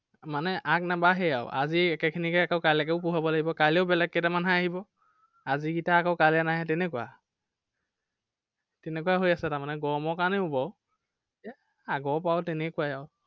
মানে আগনাবাঢ়েই আৰু, আজিৰ একেখিনিকে আকৌ কাইলেকেও পঢ়োৱাব লাগিব, কাইলেও বেলেগ কেইটামানহে আহিব। আজিৰকেইটা আকৌ কাইলৈ নাহে, তেনেকুৱা তেনেকুৱাই হৈ আছে তাৰমানে। গৰমৰ কাৰনে হ'ব আৰু। আগৰ পৰাও তেনেকুৱাই আৰু।